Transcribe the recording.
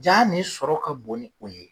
Jaa nin sɔrɔ ka bon ni o ye.